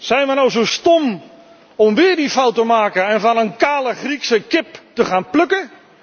Zijn we nou zo stom om weer die fout te maken en van een kale Griekse kip te gaan plukken?